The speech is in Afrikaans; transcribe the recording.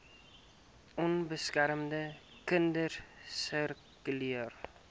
onbeskermde kinders sirkuleer